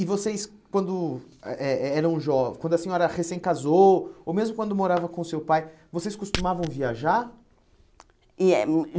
E vocês, quando eh eh eh eram jovens, quando a senhora recém casou, ou mesmo quando morava com o seu pai, vocês costumavam viajar?